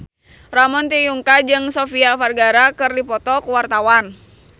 Ramon T. Yungka jeung Sofia Vergara keur dipoto ku wartawan